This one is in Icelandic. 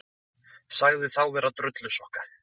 Sagði þá vera drullusokka